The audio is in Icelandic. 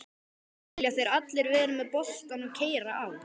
Vilja þeir allir vera með boltann og keyra á?